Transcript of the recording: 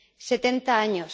70 años